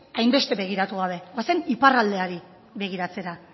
hainbeste begiratu gabe goazen iparraldeari begiratzera